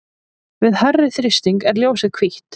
við hærri þrýsting er ljósið hvítt